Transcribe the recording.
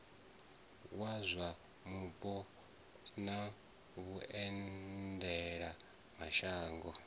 wa zwa mupo na vhuendelamashango